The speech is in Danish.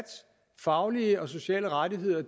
faglige og sociale rettigheder